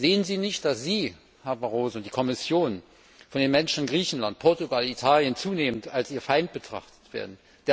Sehen Sie nicht, dass Sie, Herr Barroso, und die Kommission von den Menschen in Griechenland, Portugal und Italien zunehmend als ihr Feind betrachtet werden?